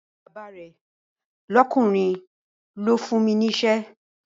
Àbúrò bàbá rẹ̀ lọ́kùnrin ló fún mi ní iṣẹ́